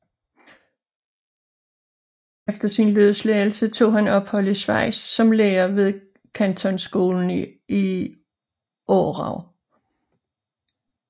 Efter sin løsladelse tog han ophold i Schweiz som lærer ved kantonskolen i Aarau